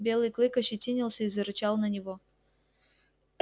белый клык ощетинился и зарычал на него